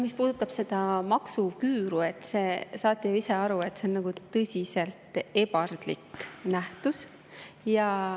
Mis puudutab seda maksuküüru, siis saate ju ise ka aru, et see on tõsiselt ebardlik nähtus.